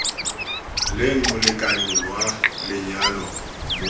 leng molekane wa lenyalo mo